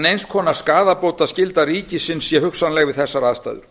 neins konar skaðabótaskylda ríkisins sé hugsanleg við þessar aðstæður